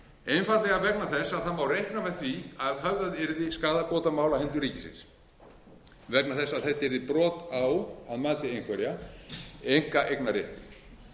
einfaldlega vegna þess að það má reikna með því að höfðað yrði skaðabótamál á hendur ríkinu vegna þess að þetta yrði brot á að mati einhverra einkaeignarrétti